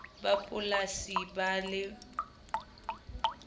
ba polasi ba be le